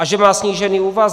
A že má snížený úvazek.